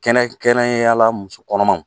Kɛnɛkɛrɛnyala muso kɔnɔmaw